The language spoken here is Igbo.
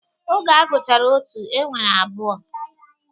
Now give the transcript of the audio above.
Oge a gụchara otu, e nwere abụọ.